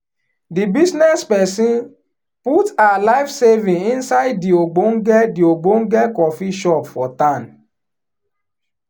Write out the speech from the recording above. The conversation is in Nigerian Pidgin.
di business person put her life saving inside di ogbonge di ogbonge coffee shop for town